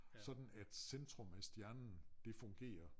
Sådan at centrum af stjernen det fungerer